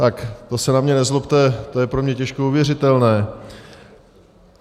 Tak to se na mě nezlobte, to je pro mě těžko uvěřitelné.